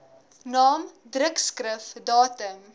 naam drukskrif datum